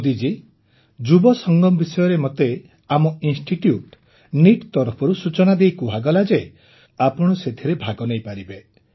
ମୋଦିଜୀ ଯୁବ ସଙ୍ଗମ ବିଷୟରେ ମୋତେ ଆମ ଇନ୍ଷ୍ଟିଟ୍ୟୁଟ୍ ନିଟ୍ ତରଫରୁ ସୂଚନା ଦେଇ କୁହାଗଲା ଯେ ଆପଣ ସେଥିରେ ଭାଗ ନେଇପାରିବେ